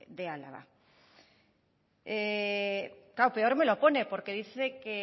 de álava claro peor me lo pone porque dice que